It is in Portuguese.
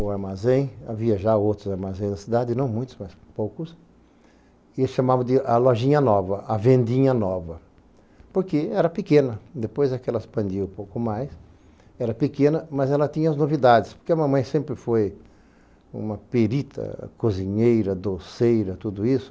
o armazém, havia já outros armazéns na cidade, não muitos, mas poucos, e chamavam de a lojinha nova, a vendinha nova, porque era pequena, depois é que ela expandiu um pouco mais, era pequena, mas ela tinha as novidades, porque a mamãe sempre foi uma perita, cozinheira, doceira, tudo isso,